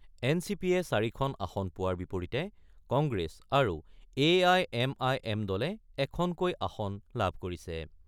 N C পিয়ে ৪ আসন পোৱাৰ বিপৰীতে কংগ্ৰেছ আৰু A I M I M দলে এখনকৈ আসন লাভ কৰিছে।